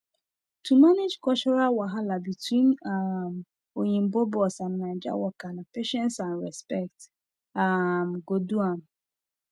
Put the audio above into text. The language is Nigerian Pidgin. to manage cultural wahala between um oyinbo boss and naija worker na patience and respect um go do am